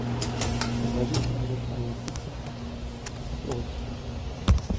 shaqadiisa adag ayaa si sax ah saf ugu jirta